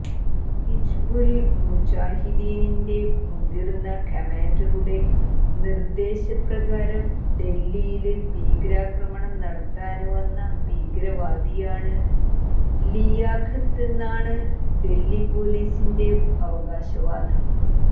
ഹിസ്ബുല് മുജാഹിദീനിന്റെ മുതിര്ന്ന കമാന്ഡറുടെ നിര്ദേശ പ്രകാരം ഡല്ഹിയില് ഭീകരാക്രമണം നടത്താന് വന്ന ഭീകരവാദിയാണ് ലിയാഖത്തെന്നാണ് ഡല്ഹി പോലീസിന്റെ അവകാശവാദം